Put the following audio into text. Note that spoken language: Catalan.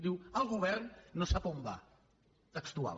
diu el govern no sap on va textual